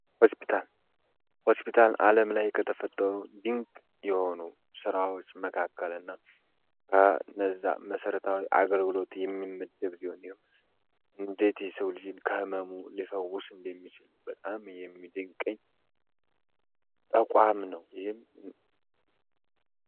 ሆስፒታል ሆስፒታል ዓለም ላይ ከተፈጠሩ ድንቅ የሆኑ ሥራዎች መካከል እና ከነዛ መሠረታዊ አገርግሎት የሚመድብ ሊሆን እንዴት ስው ልዥን ከሕመሙ ሊፈውስ እንደሚችል በጣም የሚድንቀኝ ተቋም ነው። ይህም